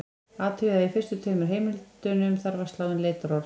Athugið að í fyrstu tveimur heimildunum þarf að slá inn leitarorð.